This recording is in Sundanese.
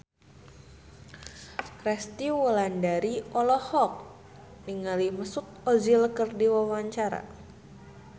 Resty Wulandari olohok ningali Mesut Ozil keur diwawancara